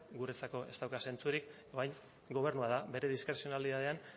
guretzako ez dauka zentzurik orain gobernua da bere diskrezionalitatean